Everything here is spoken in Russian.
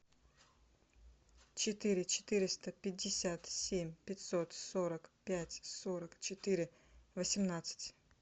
четыре четыреста пятьдесят семь пятьсот сорок пять сорок четыре восемнадцать